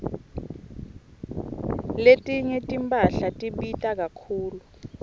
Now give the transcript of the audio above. letinye timphahla tibita kakhulu